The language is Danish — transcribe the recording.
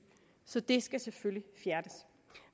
så det skal selvfølgelig fjernes